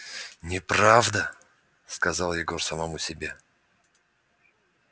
неправда сказал егор самому себе